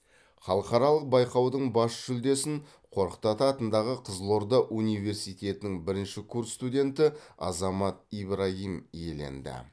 халықаралық байқаудың бас жүлдесін қорқыт ата атындағы қызылорда университетінің бірінші курс студенті азамат ибрагим иеленді